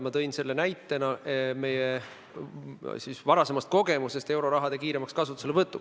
Ma tõin selle näiteks meie varasemast kogemusest euroraha kiiremal kasutuselevõtul.